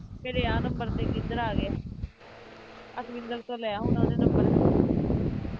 ਮੇਰੇ ਇਹ number ਤੇ ਇੱਕ ਇੱਧਰ ਆ ਗਿਆ ਅਕਵਿੰਦਰ ਤੋਂ ਲਿਆ ਹੋਣਾ ਉਹਨੇ number